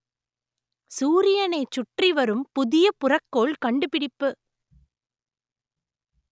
சூரியனைச் சுற்றி வரும் புதிய புறக்கோள் கண்டுபிடிப்பு